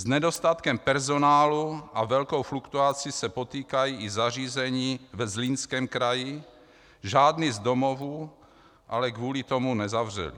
S nedostatkem personálu a velkou fluktuací se potýkají i zařízení ve Zlínském kraji, žádný z domovů ale kvůli tomu nezavřeli.